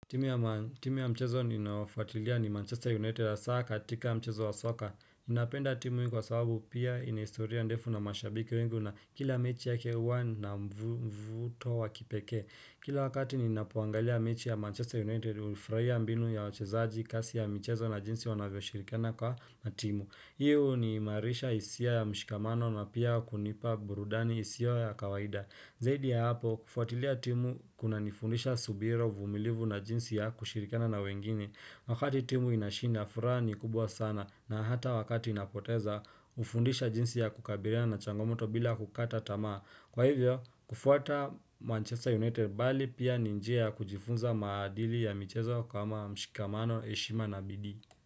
Timu ya mchezo ninaofuatilia ni Manchester United hasa katika mchezo wa soka. Ninapenda timu hii kwa sababu pia ina historia ndefu na mashabiki wengi na kila mechi yake huwa na mvuto wa kipekee. Kila wakati ninapoangalia mechi ya Manchester United hufurahia mbinu ya wachezaji kasi ya mchezo na jinsi wanavyo shirikana kwa timu. Hii huniimarisha hisia ya mshikamano na pia kunipa burudani isiyo yakawaida. Zaidi ya hapo kufuatilia timu kuna nifundisha subira uvumilivu na jinsi ya kushirikana na wengine wakati timu inashinda furaha ni kubwa sana na hata wakati inapoteza hufundisha jinsi ya kukabiliana na changomoto bila kukata tamaa. Kwa hivyo kufuata Manchester United bali pia ni njia ya kujifunza maadili ya michezo kama mshikamano heshima na bidii.